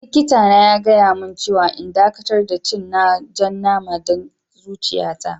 Likita na ya gaya mun cewa n'dakatar da cin jan nama dan zuciya ta.